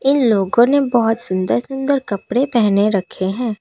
इन लोगों ने बहुत सुंदर सुंदर कपड़े पहने रखे हैं।